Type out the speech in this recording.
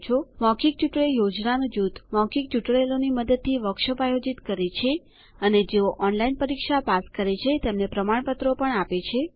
મૌખિક ટ્યુટોરિયલ યોજનાનું જૂથ મૌખિક ટ્યુટોરિયલોની મદદથી વર્કશોપ્સ આયોજિત કરે છે અને જેઓ ઓનલાઇન પરીક્ષા પાસ કરે છે તેને પ્રમાણપત્રો આપે છે